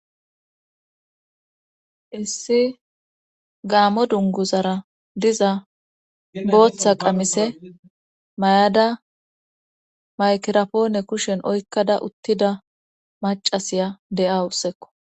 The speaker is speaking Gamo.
issi gaamo dunguzara diza booththa qamise mayada maygrapoone kushen oykkada uttida macasiya de7a ussekko